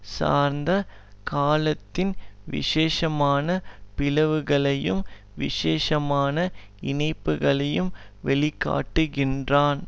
சார்ந்த காலத்தின் விசேஷமான பிளவுகளையும் விசேஷமான இணைப்புகளையும் வெளிக்காட்டுகிறான்